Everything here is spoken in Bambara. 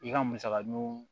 I ka musaka nunu